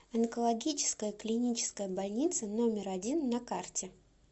онкологическая клиническая больница номер один на карте